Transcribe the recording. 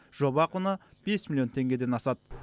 жоба құны бес миллион теңгеден асады